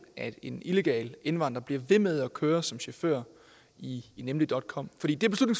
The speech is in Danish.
at en illegal indvandrer bliver ved med at køre som chauffør i nemligcom